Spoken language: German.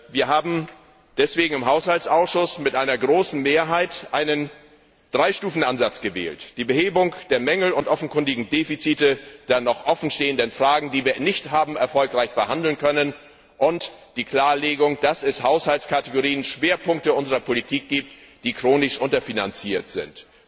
Wir haben deswegen im Haushaltsausschuss mit einer großen Mehrheit einen Drei Stufen Ansatz gewählt. Die Behebung der Mängel und offenkundigen Defizite der noch offen stehenden Fragen, die wir nicht haben erfolgreich verhandeln können, und die Klarlegung, dass es Haushaltsrubriken Schwerpunkte unserer Politik gibt, die chronisch unterfinanziert sind.